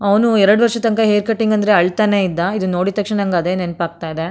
ಅವನು ಎರಡು ವರ್ಷ ತನಕ ಹೇರ್ ಕಟಿಂಗ್ ಅಂದ್ರೆ ಅಳ್ತಾನೇ ಇದ್ದ ಇದನ್ನು ನೋಡಿದ ತಕ್ಷಣ ನಂಗೆ ಅದೇ ನೆನಪಾಗ್ತಾ ಇದೆ.